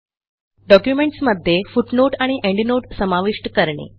डॉक्युमेंटसमध्ये footnote आणि endnote समाविष्ट करणे